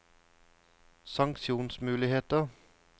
sanksjonsmuligheter